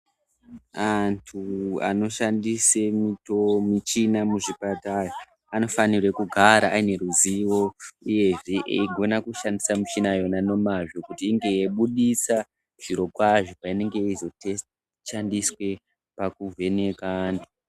Antu anoshanda michini muzvipatara anofanirwe kugara aneruzivo uyezve eyigona kushandisa michina yona nemazvo kuti inge yeyibudisa zviro kwazvo payinenge yeizo shandiswa pakuvheneka antu.